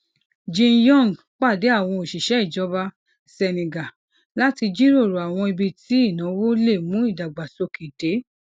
jinyong pàdé àwọn òṣìṣẹ ìjọba senegal láti jíròrò àwọn ibi tí ìnáwó lè mú ìdàgbàsókè dé